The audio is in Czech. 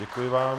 Děkuji vám.